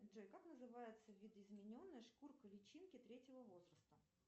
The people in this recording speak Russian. джой как называется видоизмененная шкурка личинки третьего возраста